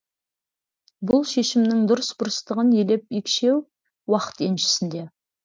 бұл шешімнің дұрыс бұрыстығын елеп екшеу уақыт еншісінде